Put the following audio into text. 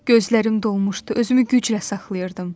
Gözlərim dolmuşdu, özümü güclə saxlayırdım.